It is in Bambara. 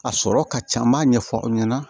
A sɔrɔ ka ca n b'a ɲɛfɔ aw ɲɛna